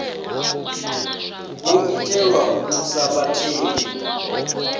wo itelwa u thusa vhatheli